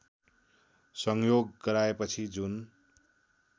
संयोग गराएपछि जुन